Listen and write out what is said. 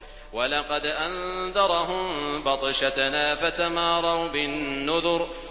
وَلَقَدْ أَنذَرَهُم بَطْشَتَنَا فَتَمَارَوْا بِالنُّذُرِ